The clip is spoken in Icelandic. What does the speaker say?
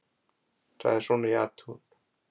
Það er svona í athugun.